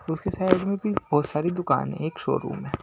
उसके साइड में भी बहुत सारी दुकान है एक शोरूम है।